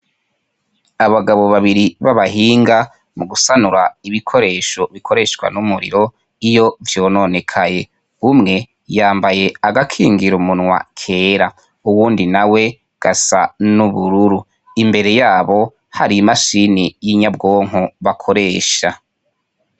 Abagabo babiri b'abahinga mugusanura ibikoresho bikoreshwa n'umuriro iyo vyononekaye. Umwe yambaye agakingira umunwa kera, uwundi nawe gasa n'ubururu. Imbere yabo, hari imashini y'inyabwonko bakoresha.